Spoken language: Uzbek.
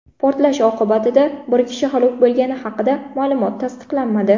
Portlash oqibatida bir kishi halok bo‘lgani haqidagi ma’lumot tasdiqlanmadi.